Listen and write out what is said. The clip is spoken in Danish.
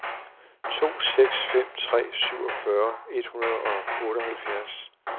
to seks fem tre syvogfyrre et hundrede og otteoghalvfjerds